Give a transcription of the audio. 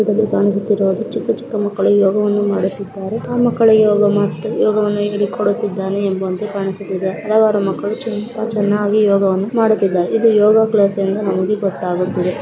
ಇದರಲ್ಲಿ ಕಾಣಿಸುತ್ತಿರುವುದು ಚಿಕ್ಕ ಚಿಕ್ಕ ಮಕ್ಕಳು ಯೋಗವನ್ನು ಮಾಡುತ್ತಿದ್ದಾರೆ. ಆ ಮಕ್ಕಲಿ ಯೋಗ ಮಾಸ್ಟರ್ ಯೋಗವನ್ನು ಹೇಳಿಕೊಡುತ್ತಾನೆ ಎಂಬ ಅಂತ ಕಾಣಿಸುತ್ತಿದೆ. ಹಲವಾರ ಮಕ್ಕಳು ತುಂಬಾ ಚನ್ನಾಗಿ ಯೋಗವನ್ನ ಮಾಡುತ್ತಿದ್ದಾರೆ. ಇದು ಯೋಗ ಕ್ಲಾಸ್ ಎಂದು ನಮಗೆ ಗೊತ್ತಾಗುತ್ತಿದೆ.